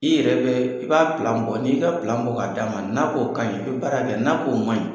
I yɛrɛ bɛ i b'a bɔ n'i y'i ka bɔ k'a d'a ma n'a k'o ka ɲi i bɛ baara kɛ n'o ye n'a k'o ma ɲi.